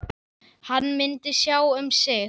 Hann myndi sjá um sig.